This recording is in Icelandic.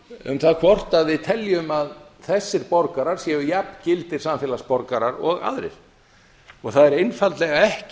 um það hvort við teljum að þessir borgarar séu jafn gildir samfélagsborgarar og aðrir það er einfaldlega ekki